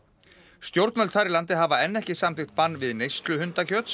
stjórnvöld þar í landi hafa enn ekki samþykkt bann við neyslu